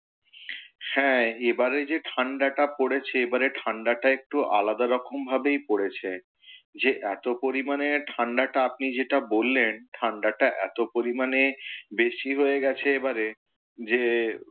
হ্যাঁ এবারে যে ঠাণ্ডাটা পড়েছে এবারে ঠাণ্ডাটা একটু আলাদা রকম ভাবেই পড়েছে। যে এতো পরিমানে ঠাণ্ডাটা আপনি যেটা বললেন ঠাণ্ডাটা এতো পরিমাণে বেশী হয়ে গেছে এবারে যে,